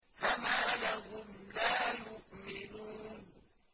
فَمَا لَهُمْ لَا يُؤْمِنُونَ